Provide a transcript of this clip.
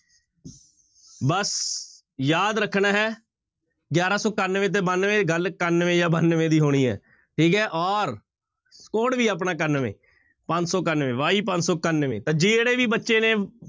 ਬਸ ਯਾਦ ਰੱਖਣਾ ਹੈ ਗਿਆਰਾਂ ਸੌ ਇਕਾਨਵੇਂ ਤੇ ਬਾਨਵੇਂ, ਗੱਲ ਇਕਾਨਵੇਂ ਜਾਂ ਬਾਨਵੇਂ ਦੀ ਹੋਣੀ ਹੈ ਠੀਕ ਹੈ ਔਰ code ਵੀ ਆਪਣਾ ਇਕਾਨਵੇਂ, ਪੰਜ ਸੌ ਇਕਾਨਵੇਂ y ਪੰਜ ਸੌ ਇਕਾਨਵੇਂ ਤਾਂ ਜਿਹੜੇ ਵੀ ਬੱਚੇ ਨੇ